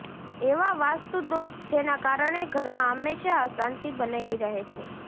એવા વાસ્તુ દોષ જેના કારણે ઘરમાં હંમેશા અંશાંતિ બનેલી રહે છે